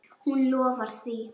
Hún lofar því.